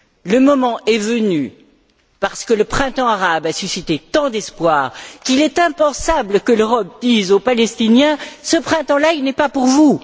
Le moment est venu parce que le printemps arabe a suscité tant d'espoirs qu'il est impensable que l'Europe dise aux Palestiniens Ce printemps là, il n'est pas pour vous.